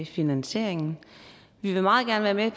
finansieringen vi vil meget gerne være med